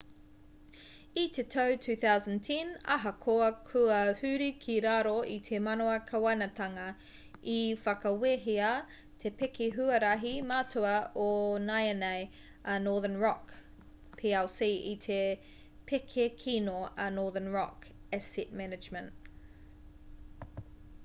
i te tau 2010 ahakoa kua huri ki raro i te mana kāwanatanga i whakawehea te pēke huarahi matua o nāianei a northern rock plc i te pēke kino a northern rock asset management